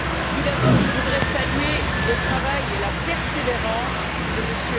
Tout d'abord, je voudrais saluer le travail et la persévérance de M.